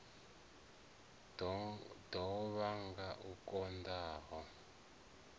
ḓo vhanga u konḓa ha